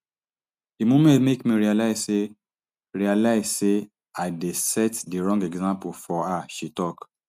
di moment make me realise say realise say i dey set di wrong example for her she tok